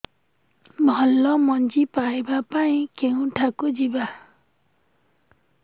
ଭଲ ମଞ୍ଜି ପାଇବା ପାଇଁ କେଉଁଠାକୁ ଯିବା